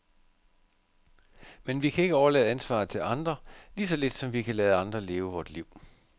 Men vi kan ikke overlade ansvaret til andre, lige så lidt som vi kan lade andre leve vort liv.